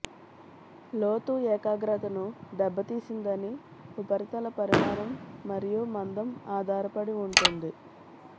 లోతు ఏకాగ్రతను దెబ్బతీసిందని ఉపరితల పరిమాణం మరియు మందం ఆధారపడి ఉంటుంది